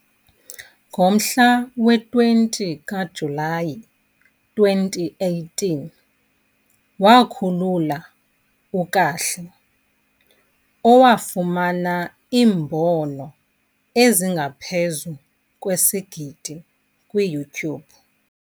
Ngomhla we-20 kaJulayi 2018, wakhulula "uKahle", owafumana iimbono ezingaphezu kwesigidi kwi- .